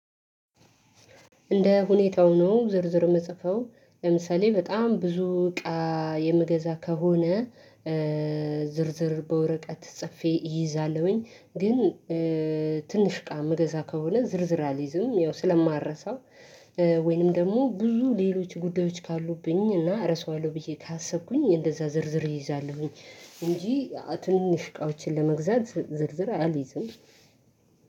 እንደ ሁኔታው ነው ዝርዝር ምጽፈው ለምሳሌ በጣም ብዙ እቃ የምገዛ ከሆነ። ዝርዝር በወረቀት ጽፌ እይዛለሁኝ። ግን ትንሽ እቃ ምገዛ ከሆነ ዝርዝር አልይዝም። ያው ስለማልረሳው። ወይንም ደግሞ ብዙ ሌሎች ጉዳዮች ካሉብኝ እና እረሳዋለሁ ብዬ ካሰብኩኝ እንደዛ ዝርዝር እይዛለሁኝ። እንጂ ትንሽ እቃዎችን ለመግዛት ዝርዝር አልይዝም።